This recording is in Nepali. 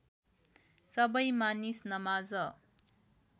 सबै मानिस नमाज